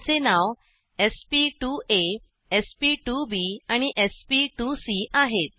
त्याचे नाव sp2आ sp2बी आणि sp2सी आहेत